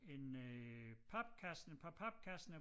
En øh papkasse et par papkasser